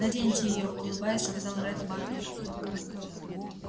наденьте её улыбаясь сказал ретт батлер